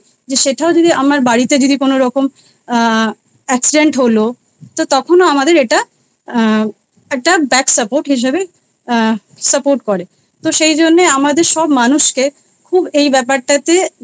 সেটাও যদি আমার বাড়িতে যদি কোনোরকম accident হল তা তখন আমাদের এটা আ একটা Back support হিসাবে আ Support করে। তো সেই জন্যে আমাদের সব মানুষকে খুব এই ব্যাপারটাতে